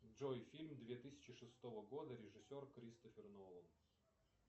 джой фильм две тысячи шестого года режиссер кристофер нолан